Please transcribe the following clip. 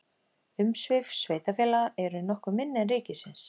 Umsvif sveitarfélaga eru nokkuð minni en ríkisins.